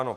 Ano.